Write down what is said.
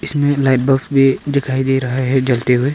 जिनमे light bulb भी दिखाई दे रहा है जलते हुए।